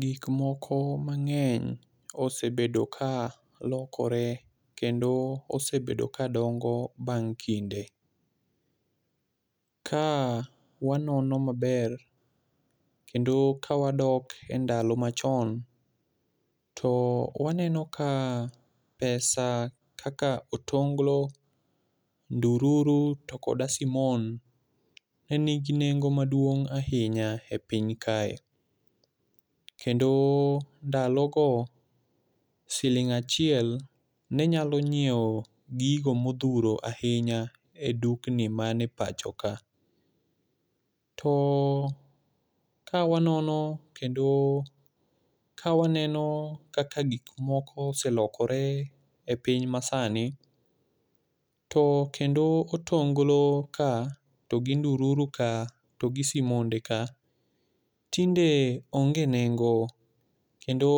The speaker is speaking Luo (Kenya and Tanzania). Gik moko mang'eny osebedo ka lokore kendo osebedo ka dongo bang' kinde. Ka wanono maber, kendo ka wadok e ndalo machon, to waneno ka e pesa kaka otonglo, ndururu to koda simon, ne gi nengo maduong' ahinya e piny kae. Kendo ndalo go siling achiel, ne nyalo nyiewo gigo modhuro ahinya e dukni ma ni e pacho ka. To kawanono kendo ka waneno kaka gik moko oselokore e piny masani, to kendo otonglo ka to gi ndururu ka, to gi simonde ka, tinde onge nengo. Kendo